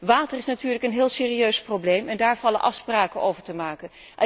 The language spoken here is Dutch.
Water is natuurlijk een heel serieus probleem en daar vallen afspraken over te maken.